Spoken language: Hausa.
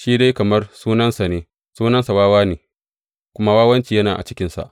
Shi dai kamar sunansa ne, sunansa Wawa ne, kuma wawanci yana cikinsa.